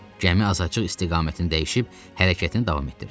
Gəmi azacıq istiqamətini dəyişib hərəkətini davam etdirdi.